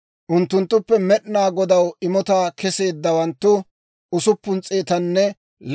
Miizzatuu 36,000; unttunttuppe Med'inaa Godaw imotaa kesseeddawanttu 72.